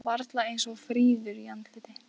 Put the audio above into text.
Þó varla eins fríður í andliti.